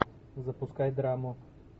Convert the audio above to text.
запускай драму